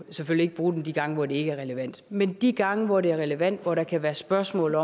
ikke bruge den de gange hvor det ikke er relevant men de gange hvor det er relevant hvor der kan være spørgsmål